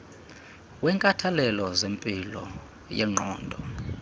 wenkathalelo zempilo yengqondo